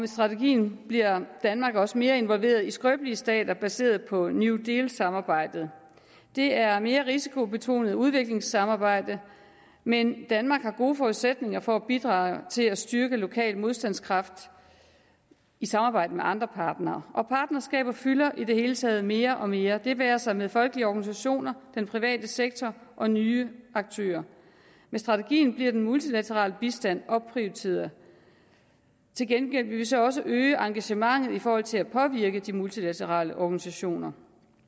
strategien bliver danmark også mere involveret i skrøbelige stater baseret på new deal samarbejdet det er et mere risikobetonet udviklingssamarbejde men danmark har gode forudsætninger for at bidrage til at styrke lokal modstandskraft i samarbejde med andre partnere og partnerskaber fylder i det hele taget mere og mere det være sig med folkelige organisationer den private sektor og nye aktører med strategien bliver den multilaterale bistand opprioriteret til gengæld vil vi så også øge engagementet i forhold til at påvirke de multilaterale organisationer